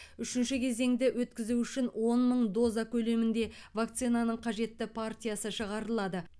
үшінші кезеңді өткізу үшін он мың доза көлемінде вакцинаның қажетті партиясы шығарылады